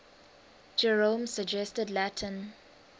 jerome's suggested latin